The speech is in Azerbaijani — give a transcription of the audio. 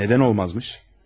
Nə üçün olmazmış?